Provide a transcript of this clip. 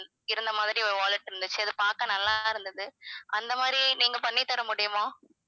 இருந்த மாதிரி ஒரு wallet இருந்துச்சு அதை பார்க்க நல்லா இருந்தது அந்த மாதிரி நீங்க பண்ணி தர முடியுமா?